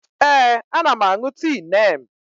Ee, ana m aṅụ tii Neem.